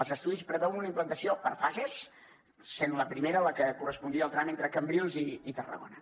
els estudis preveuen una implantació per fases i la primera és la que correspondria al tram entre cambrils i tarragona